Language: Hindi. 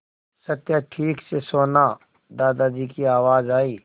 सत्या ठीक से सोना दादाजी की आवाज़ आई